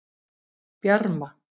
Bjarma